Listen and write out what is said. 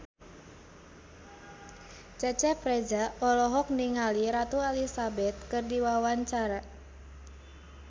Cecep Reza olohok ningali Ratu Elizabeth keur diwawancara